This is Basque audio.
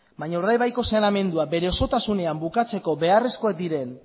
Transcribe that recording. baina urdaibaiko saneamendua bere osotasunean bukatzeko beharrezkoak diren